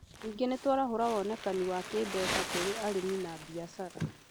Ningĩ nĩ tũraarahũra wonekani wa kĩmbeca kũrĩ arĩmi, na biashara